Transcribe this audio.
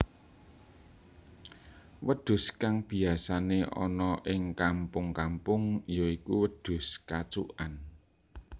Wedhus kang biyasané ana ing kampung kampung ya iku wedhus kacukan